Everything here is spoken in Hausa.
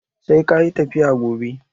Sai kayi tafiya gobe!